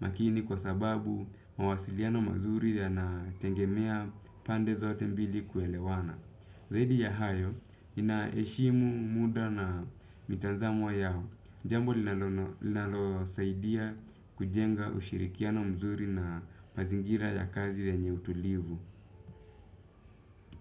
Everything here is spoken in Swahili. makini kwa sababu mawasiliano mazuri yanatengemea pande zaote mbili kuelewana. Zaidi ya hayo, nina eshimu muda na mitazamo yao. Jambo linalo saidia kujenga ushirikiano mzuri na mazingira ya kazi yenye utulivu.